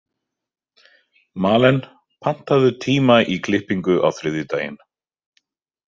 Malen, pantaðu tíma í klippingu á þriðjudaginn.